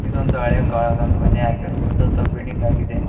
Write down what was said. ಇದೊಂದು ಹಳೆ ಕಾಲದ ಮನೆ ಆಗಿರಬಹುದು ಅಥವಾ ಬಿಲ್ಡಿಂಗ್ ಆಗಿದೆ.